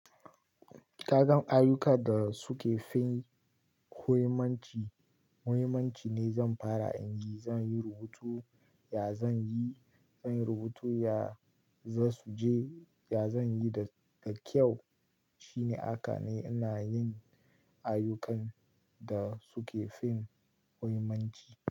Ka gan ayyukan da suke fin huyimmanci, muhimmanci ne zan fara in yi. Zan yi rubutu, ya zan yi? Zan yi rubutu, ya za su je? Ya zan yi da kyau? Shine aka ne ina yin ayyukan da suke fin muhimmanci.